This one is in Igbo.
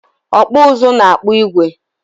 Ọkpụụzụ na-akpụ igwe.